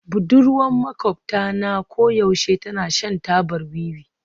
Budurwar maƙwabta na koyaushe tana shan tabar wiwi